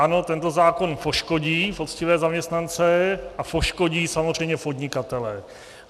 Ano, tento zákon poškodí poctivé zaměstnance a poškodí samozřejmě podnikatele.